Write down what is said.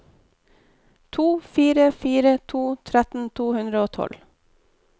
to fire fire to tretten tre hundre og tolv